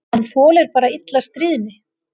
Hann þolir bara illa stríðni.